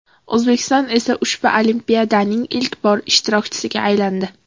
O‘zbekiston esa ushbu olimpiadaning ilk bor ishtirokchisiga aylandi.